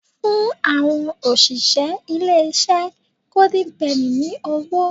Fún àwọn òṣìṣẹ́ ilé-iṣẹ́ goIden penny ní owó